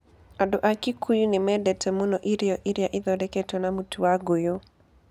Andũ a Kikuyu nĩ mendete mũno irio iria ithondeketwo na mũtu na ngũyũ.